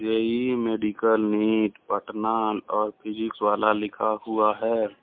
JEE medical NEET Patna और physics वाला लिखा हुआ है।